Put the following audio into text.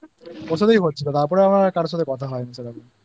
তারপরে আমার কারও সঙ্গে কথা হয়নি আচ্ছা আমি বলছি না গিয়েছিলাম